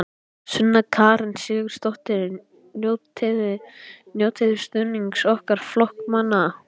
Sunna Karen Sigurþórsdóttir: Njótiði stuðnings ykkar flokksmanna?